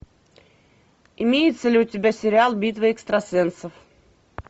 имеется ли у тебя сериал битва экстрасенсов